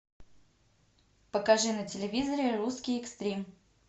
покажи на телевизоре русский экстрим